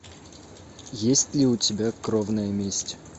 есть ли у тебя кровная месть